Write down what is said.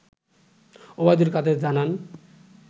ওবায়দুল কাদের জানান